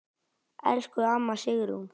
Elsku amma Sigrún.